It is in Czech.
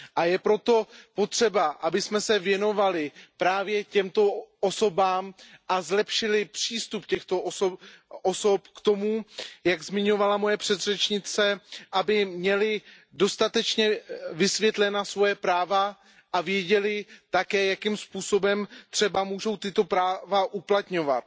Je proto potřeba, abychom se věnovali právě těmto osobám a zlepšili přístup těchto osob k tomu, jak zmiňovala moje předřečnice, aby měly dostatečně vysvětlena svoje práva a věděly také, jakým způsobem mohou tato práva uplatňovat.